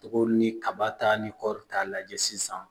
Togo ni kaba ta ni kɔɔri t'a lajɛ sisan